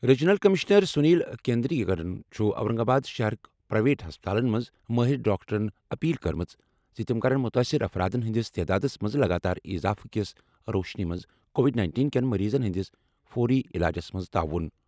Regional commissioner Sunil کیندریکرَن چھُ Aurangabad شہرٕک پرائیویٹ ہسپتالَن منٛز مٲہِر ڈاکٹرَن اپیل کٔرمٕژ زِ تِم کرَن مُتٲثِر افرادَن ہٕنٛدِس تعدادَس منٛز لگاتار اضافہٕ کِس روشنی منٛز کووڈ-19 کین مریضَن ہٕنٛدِس فوری علاجَس منٛز تعاون۔